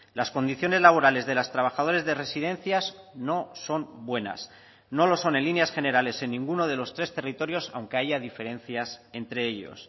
las condiciones laborales de los trabajadores de residencias no son buenas no lo son en líneas generales en ninguno de los tres territorios aunque haya diferencias entre ellos